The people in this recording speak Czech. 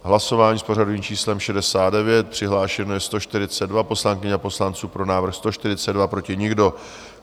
Hlasování s pořadovým číslem 69, přihlášeni jsou 142 poslankyně a poslanci, pro návrh 142, proti nikdo.